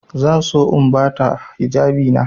Zan so in ba ta hijabina.